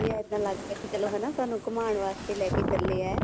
ਇੱਦਾਂ ਲੱਗਦਾ ਵੀ ਚਲੋ ਹਨਾ ਸਾਨੂੰ ਘੁਮਾਣ ਵਾਸਤੇ ਲੈਕੇ ਚੱਲੇ ਏ